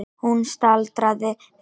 Hún staldraði við.